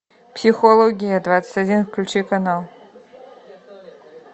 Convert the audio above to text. психология двадцать один включи канал